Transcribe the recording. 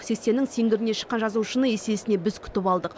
сексеннің сеңгіріне шыққан жазушыны есесіне біз күтіп алдық